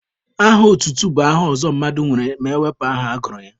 Aha otutu bụ aha ọzọ mmadụ nwere ma ewepụ aha agụrụ ya.